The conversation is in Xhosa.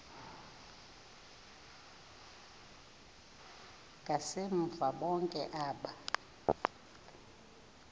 ngasemva bonke aba